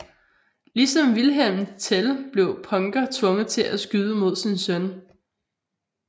Ligesom Wilhelm Tell blev Punker tvunget til at skyde mod sin søn